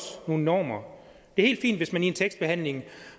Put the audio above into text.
nogle normer det er helt fint hvis man i en tekstbehandling